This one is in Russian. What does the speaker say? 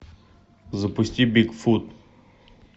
запусти бигфут